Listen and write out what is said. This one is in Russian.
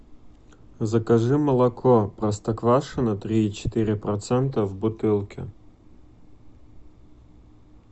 закажи молоко простоквашино три и четыре процента в бутылке